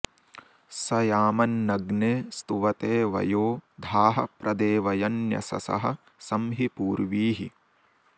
स याम॑न्नग्ने स्तुव॒ते वयो॑ धाः॒ प्र दे॑व॒यन्य॒शसः॒ सं हि पू॒र्वीः